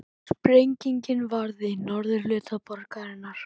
Sprengingin varð í norðurhluta borgarinnar